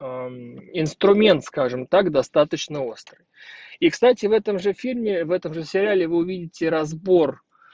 инструмент скажем так достаточно острый и кстати в этом же фильме в этом же сериале вы увидите разбор